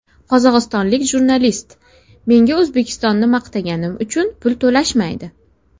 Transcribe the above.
Qozog‘istonlik jurnalist: Menga O‘zbekistonni maqtaganim uchun pul to‘lashmaydi.